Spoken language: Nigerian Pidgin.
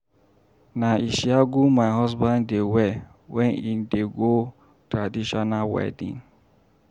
Na ishiagu my husband dey wear wen im dey go traditional wedding.